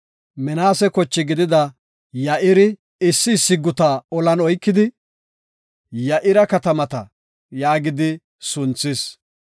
Minaase kochi gidida Ya7iri he si olli oykidi, “Ya7ira katamata” yaagidi sunthis.